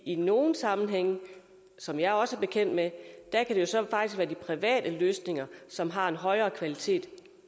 i nogle sammenhænge som jeg også er bekendt med kan det så faktisk være de private løsninger som har en højere kvalitet